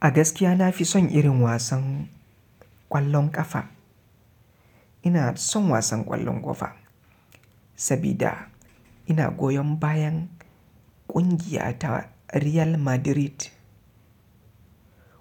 A gaskiya na fi son irin wasan ƙwallon ƙafa. Ina son wasan ƙwallon ƙafa sabida ina goyon bayan ƙungiya ta Real Madrid